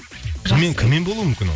кіммен болуы мүмкін ол